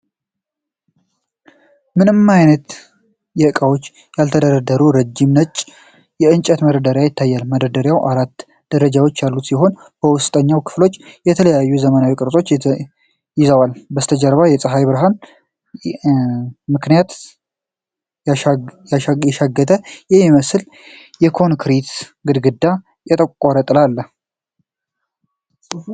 ምንም አይነት እቃዎች ያልተደረደሩበት ረዥም ነጭ የእንጨት መደርደሪያ ይታያል። መደርደሪያው አራት ደረጃዎች ያሉት ሲሆን የውስጠኛው ክፍፍሎች ተለዋዋጭና ዘመናዊ ቅርፅን ይዘዋል። በስተጀርባ በፀሀይ ብርሃን ምክንያት የሻገተ የሚመስል የኮንክሪት ግድግዳ እና የጠቆረ ጥላ አለ።